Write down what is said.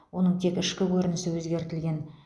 оның тек ішкі көрінісі өзгертілген